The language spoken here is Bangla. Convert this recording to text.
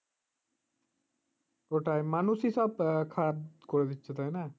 ওটাই মানুষই সব খারাপ করে দিচ্ছে তাই না